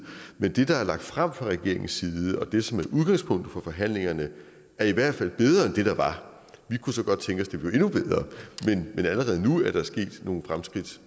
men det der er lagt frem fra regeringens side og det som er udgangspunktet for forhandlingerne er i hvert fald bedre end det der var vi kunne så godt tænke det blev endnu bedre men allerede nu er der sket nogle fremskridt